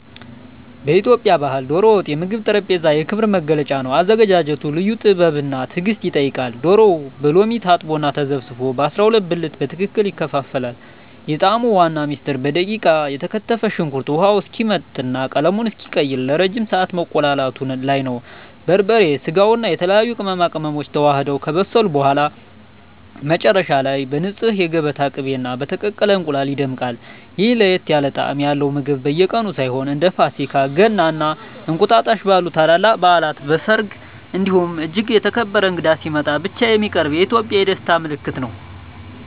በኢትዮጵያ ባሕል "ዶሮ ወጥ" የምግብ ጠረጴዛ የክብር መገለጫ ነው። አዘገጃጀቱ ልዩ ጥበብና ትዕግስት ይጠይቃል፤ ዶሮው በሎሚ ታጥቦና ተዘፍዝፎ በ12 ብልት በትክክል ይከፋፈላል። የጣዕሙ ዋና ምስጢር በደቃቁ የተከተፈ ሽንኩርት ውሃው እስኪመጥና ቀለሙን እስኪቀይር ለረጅም ሰዓት መቁላላቱ ላይ ነው። በርበሬ፣ ስጋውና የተለያዩ ቅመማ ቅመሞች ተዋህደው ከበሰሉ በኋላ፣ መጨረሻ ላይ በንፁህ የገበታ ቅቤና በተቀቀለ እንቁላል ይደምቃል። ይህ ለየት ያለ ጣዕም ያለው ምግብ በየቀኑ ሳይሆን፣ እንደ ፋሲካ፣ ገና እና እንቁጣጣሽ ባሉ ታላላቅ በዓላት፣ በሰርግ እንዲሁም እጅግ የተከበረ እንግዳ ሲመጣ ብቻ የሚቀርብ የኢትዮጵያውያን የደስታ ምልክት ነው።